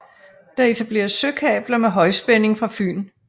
Der etableres søkabler med højspænding fra Fyn